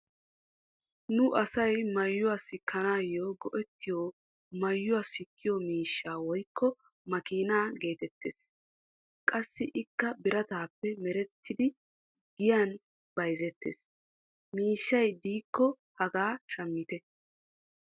Nu asay maayuwa sikanaayo go'ettiyo maayuwa sikkiyo miishshaa woykko makkiinaa geetettees. qassi ikka birataappe merettidi giyan bayzzettes miishshay diikko hagaa shammitte.